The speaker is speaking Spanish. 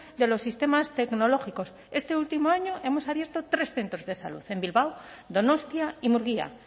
de los sistemas tecnológicos este último año hemos abierto tres centros de salud en bilbao donostia y murgia